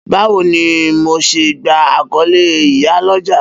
Bawo ni MO ṣe gba akọle iya loja?